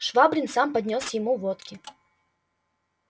швабрин сам поднёс ему водки